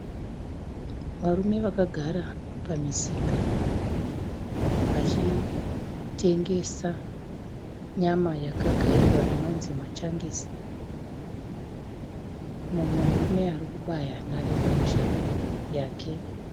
Varume vakagara pamusika vachitengesa nyama yakagayiwa inonzi machankisi, mumwe murume arikubaya nharembozha yake.